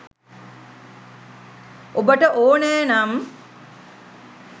ඔබට ඕනෑ නම්